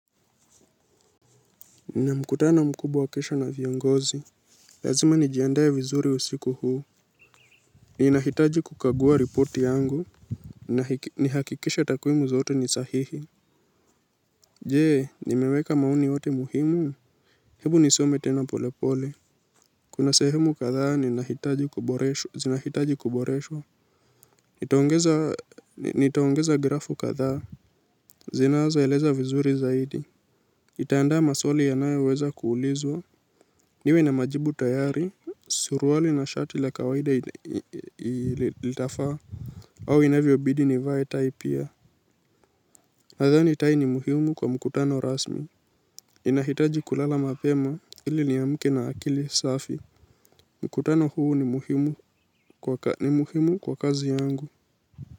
Nina mkutano mkubwa kesho na viongozi. Lazima nijiandae vizuri usiku huu. Ninahitaji kukagua ripoti yangu. Nihakikishe takwimu zote ni sahihi. Je ni meweka maoni yote muhimu? Ebu nisome tena polepole. Kuna sehemu kadhaa zinahitaji kuboreshwa. Nitaongeza grafu kadhaa zinazoeleza vizuri zaidi nitaandaa maswali yanayoweza kuulizwa. Niwe na majibu tayari. Suruali na shati la kawaida litafaa. Au inavyo bidi nivae tai pia. Nadhani tai ni muhimu kwa mkutano rasmi. Inahitaji kulala mapema ili niamke na akili safi. Mkutano huu ni muhimu kwa kazi yangu.